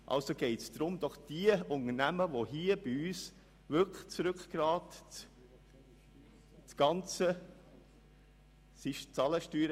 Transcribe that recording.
Also geht es doch um die Unternehmen, die bei uns wirklich das Rückgrat der Wirtschaft bilden. .)